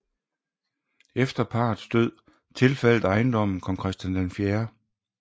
Efter parrets død tilfaldt ejendommen kong Christian 4